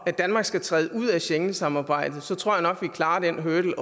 at danmark skal træde ud af schengensamarbejdet så tror jeg at vi klarer den hurdle